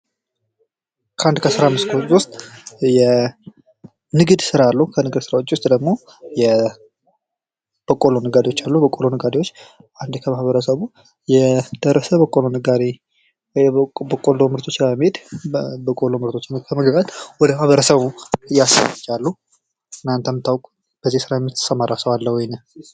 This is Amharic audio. ከአንድ የስራ ክፍል ውስጥ ንግድ አለ። ከዚህም ውስጥ የበቆሎ ነጋዴ አንዱ ነው። እናንተ የምታውቁት የበቆሎ ነጋደ አለ?